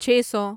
چھے سو